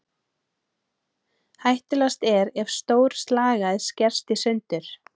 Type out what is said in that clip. Hættulegast er ef stór slagæð skerst í sundur.